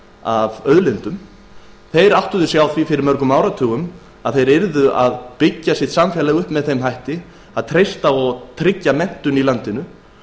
fáum auðlindum danir áttuðu sig á því fyrir mörgum áratugum að samfélagið yrði að byggja upp með því að treysta og tryggja menntun í landinu